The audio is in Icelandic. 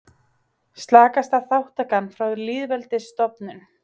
Slakasta þátttakan frá lýðveldisstofnun